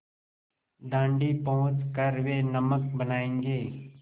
दाँडी पहुँच कर वे नमक बनायेंगे